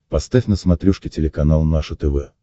поставь на смотрешке телеканал наше тв